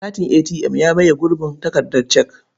Katin ATM ya maye gurbin takardar cek.